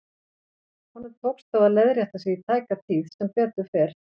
Honum tókst þó að leiðrétta sig í tæka tíð, sem betur fer.